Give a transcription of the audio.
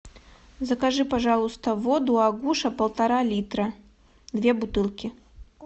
закажи пожалуйста воду агуша полтора литра две бутылки